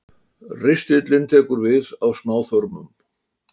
Ristillinn tekur við af smáþörmum.